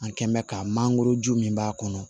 An kɛnbɛ ka mangoroju min b'a kɔnɔ